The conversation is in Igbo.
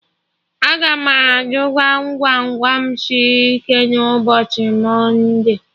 Aga m ajụ Gwam Gwam Gwam sịrị ike na ụbọchị mọnde